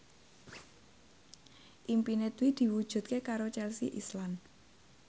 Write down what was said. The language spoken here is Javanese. impine Dwi diwujudke karo Chelsea Islan